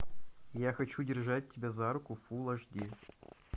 я хочу держать тебя за руку фул аш ди